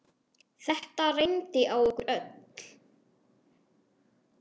Þetta reyndi á okkur öll.